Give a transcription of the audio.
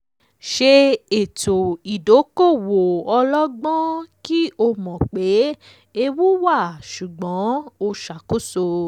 ṣe ètò ìdókòwò ọlọ́gbọ́n kí o kí o mọ̀ pé ewu wà ṣùgbọ́n ó ṣàkóso.